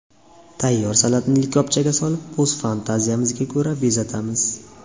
Tayyor salatni likopchaga solib, o‘z fantaziyamizga ko‘ra bezatamiz.